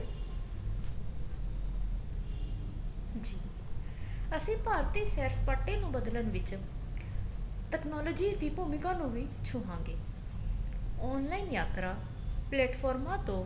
ਜੀ ਅਸੀਂ ਭਾਰਤੀ ਸੈਰ ਸਪਾਟੇ ਨੂੰ ਬਦਲਣ ਵਿੱਚ technology ਦੀ ਵੀ ਭੂਮਿਕਾ ਨੂੰ ਵੀ ਛੂਵਾਂਗੇ online ਯਾਤਰਾ ਪਲੇਟਫੋਰਮਾ ਤੋਂ